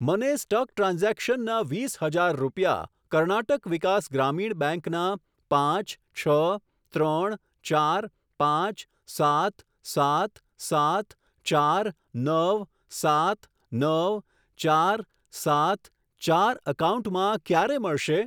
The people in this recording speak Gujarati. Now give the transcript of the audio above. મને સ્ટક ટ્રાન્ઝેક્શનના વીસ હજાર રૂપિયા કર્ણાટક વિકાસ ગ્રામીણ બેંક ના પાંચ છ ત્રણ ચાર પાંચ સાત સાત સાત ચાર નવ સાત નવ ચાર સાત ચાર એકાઉન્ટમાં ક્યારે મળશે?